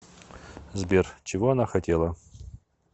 сбер чего она хотела